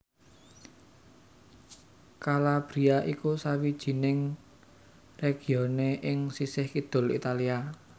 Calabria iku sawijining regione ing sisih kidul Italia